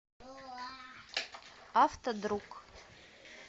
автодруг